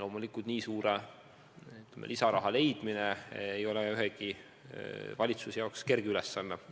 Loomulikult nii suure lisasumma leidmine ei ole ühegi valitsuse jaoks kerge ülesanne.